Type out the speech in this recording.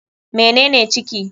Mene ne ciki?